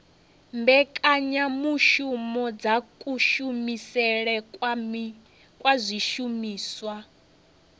mbekanyamushumo dza kushumisele kwa zwishumiswa